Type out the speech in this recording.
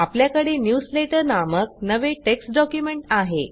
आपल्याकडे न्यूजलेटर नामक नवे टेक्स्ट डॉक्युमेंट आहे